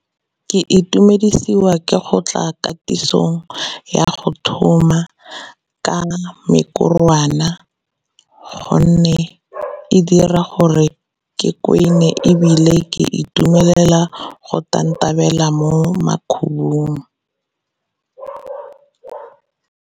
Ke itumedisiwa ke go tla katisong ya go thuma ka mekorwana gonne e dira gore ke kwene ebile ke itumelela go tantabela mo makhubung.